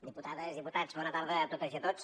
diputades diputats bona tarda a totes i tots